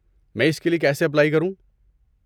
میں اس کے لیے کیسے اپلائی کروں؟